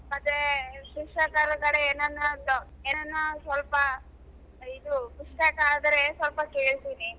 ಮತ್ತೆ ಶಿಕ್ಷಕರ ಕಡೆ ಏನಾನ ಏನಾನ ಸ್ವಲ್ಪ ಇದು ಪುಸ್ತಕ ಆದ್ರೆ ಸ್ವಲ್ಪ ಕೇಳ್ತೀನಿ .